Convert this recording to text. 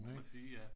Det må man sige ja